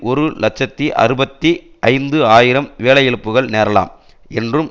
ஒரு இலட்சத்தி அறுபத்தி ஐந்து ஆயிரம் வேலை இழப்புக்கள் நேரலாம் என்றும்